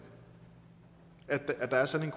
at der er sådan